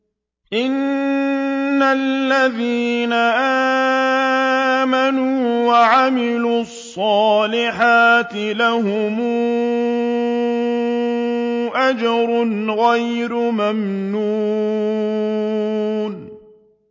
إِنَّ الَّذِينَ آمَنُوا وَعَمِلُوا الصَّالِحَاتِ لَهُمْ أَجْرٌ غَيْرُ مَمْنُونٍ